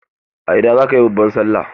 A ina zaka yi babban Sallah?